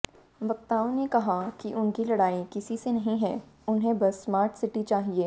वक्ताओं ने कहा कि उनकी लड़ाई किसी से नहीं है उन्हें बस स्मार्ट सिटी चाहिए